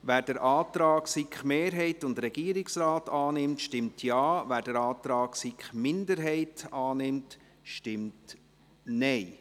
Wer den Antrag von SiKMehrheit und Regierungsrat annimmt, stimmt Ja, wer den Antrag SiK-Minderheit annimmt, stimmt Nein.